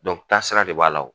taasira de b'a la o